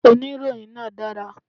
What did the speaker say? Oníròyìn náà dára